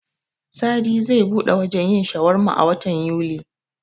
Sadi zai buɗe wajen yin shawarma a watan Yuli.